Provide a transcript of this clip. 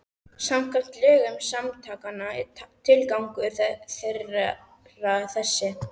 Samkvæmt lögum samtakanna er tilgangur þeirra þessi